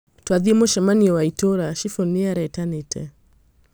Twathiĩ mũcamanio wa itũũra. Cibũ nĩ arĩtanĩtĩ.